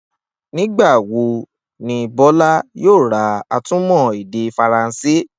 Nígbà wo ni Bó̩lá yóò ra atúmò̩-èdè Faransé?